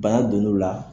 Bana donn'o la